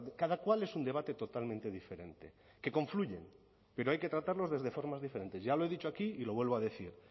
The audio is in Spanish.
cada cual es un debate totalmente diferente que confluyen pero hay que tratarlos desde formas diferentes ya lo he dicho aquí y lo vuelvo a decir